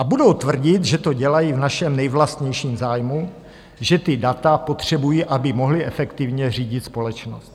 A budou tvrdit, že to dělají v našem nejvlastnějším zájmu, že ta data potřebují, aby mohli efektivně řídit společnost.